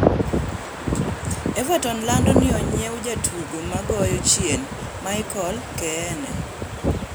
Everton lando ni onyiew jatugo magoyo chien Michael Keane